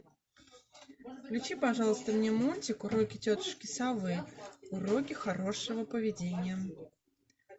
включи пожалуйста мне мультик уроки тетушки совы уроки хорошего поведения